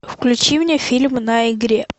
включи мне фильм на игре